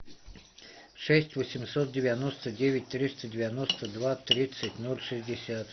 шесть восемьсот девяносто девять триста девяносто два тридцать ноль шестьдесят